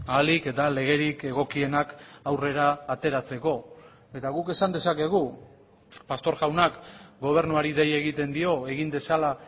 ahalik eta legerik egokienak aurrera ateratzeko eta guk esan dezakegu pastor jaunak gobernuari dei egiten dio egin dezala